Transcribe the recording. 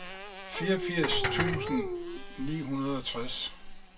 fireogfirs tusind ni hundrede og tres